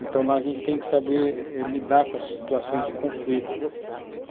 Então, lá a gente tem que saber lidar com as situações de conflito.